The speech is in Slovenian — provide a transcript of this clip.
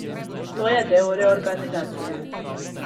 To je del reorganizacije.